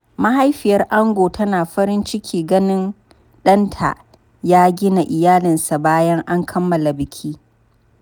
Mahaifiyar ango tana farin ciki ganin danta ya gina iyalinsa bayan an kammala biki.